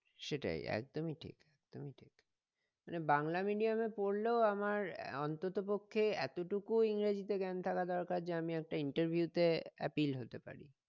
সেটাই একদমই ঠিক একদমই ঠিক মানে বাংলা medium এ পড়লেও আমার অন্তত পক্ষে এতটুকু ইংরেজি তে জ্ঞান থাকা দরকার যে আমি একটা interview তে appeal হতে পারি